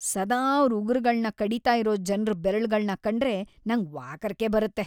ಸದಾ ಅವ್ರ್ ಉಗ್ರುಗಳ್ನ ಕಡೀತಾ ಇರೋ ಜನ್ರ್ ಬೆರಳ್ಗಳ್ನ ಕಂಡ್ರೇ ನಂಗ್ ವಾಕರಿಕೆ ಬರುತ್ತೆ.